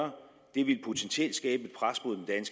det ville potentielt skabe